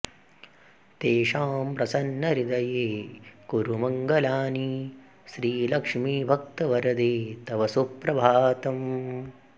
तेषां प्रसन्नहृदये कुरु मङ्गलानि श्रीलक्ष्मि भक्तवरदे तव सुप्रभातम्